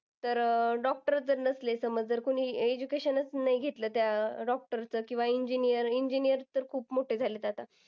तर अह doctor च जर नसले, तर मग जर कोणी education च नाही घेतलं त्या doctor च. किंवा engineer engineer तर खूप मोठे झालेत आता.